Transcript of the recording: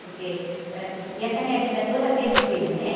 Porque, ãh, não podia estar a minha vida toda tendo filho, né?